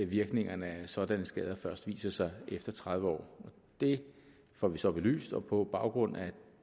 virkningerne af sådanne skader først viser sig efter tredive år det får vi så belyst og på baggrund af